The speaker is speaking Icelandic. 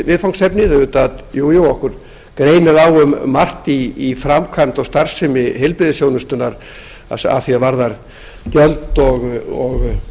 viðfangsefni auðvitað greinir okkur vissulega á um margt í framkvæmd og starfsemi heilbrigðisþjónustunnar að því er varðar gjöld og